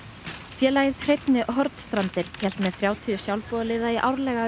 félagið hreinni Hornstrandir hélt með þrjátíu sjálfboðaliða í árlega